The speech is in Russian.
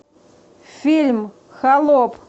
фильм холоп